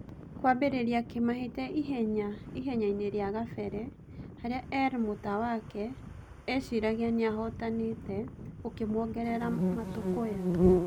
Kũambĩa kĩmahĩtia ihenyainĩ rĩa gabere - harĩa Er Mũtawake eciragia nĩahotanĩte - gũkĩmuongerera matũkũya.